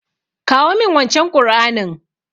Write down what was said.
Kawo min wancen Ƙur'anin.